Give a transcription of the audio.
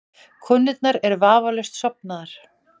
Konurnar eru vafalaust sofnaðar.